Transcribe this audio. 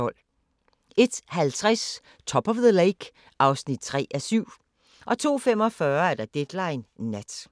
01:50: Top of the Lake (3:7) 02:45: Deadline Nat